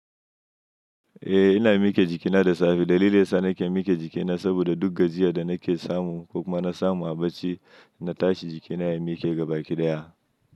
Eh ina miki jikina da safe. Dalilin sa nake miki jikina saboda duk gajiya da nake samu ko kuma na samu a bacci na tashi jikina ya mike gaba kidaya.